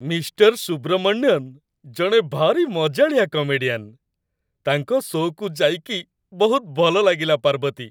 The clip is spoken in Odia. ମିଷ୍ଟର ସୁବ୍ରମଣ୍ୟନ୍ ଜଣେ ଭାରି ମଜାଳିଆ କମେଡିଆନ୍ । ତାଙ୍କ ଶୋ'କୁ ଯାଇକି ବହୁତ ଭଲ ଲାଗିଲା, ପାର୍ବତୀ ।